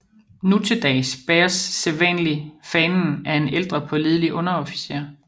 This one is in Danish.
Nu til dags bæres sædvanlig fanen af en ældre pålidelig underofficer